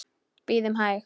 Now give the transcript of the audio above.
Bíðum hæg.